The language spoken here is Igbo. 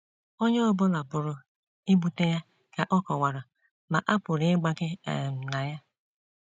Onye ọ bụla pụrụ ibute ya, ka ọ kọwara, ma a pụrụ ịgbake um na ya.